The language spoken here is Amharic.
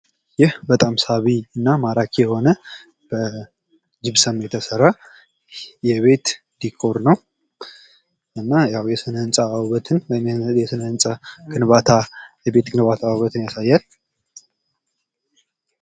ይህ በጣም ሳቢና ማራኪ የሆነ በጂብሰም የተሰራ የቤት ዲኮር ነው። እና የስነ ህንፃ ግንባታ ውበትን ያሳያል።